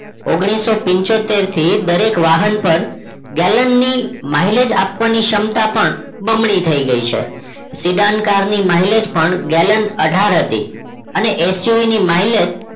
ઓગ્નીશો પીન્ચ્યોતેર થી દરેક વાહન પર gallan ની mileage આપવાની ક્ષમતા પણ બમણી થઈ ગઈ છે Siddharth car ની mileage પણ gallan અઠાર હતી અને XUV ની mileage